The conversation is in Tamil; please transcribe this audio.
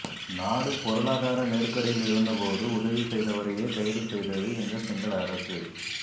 நாடு பொருளாதார நெருக்கடியில் இருந்த போது உதவி செய்தவரையே கைது செய்தது இந்த சிங்கள அரசு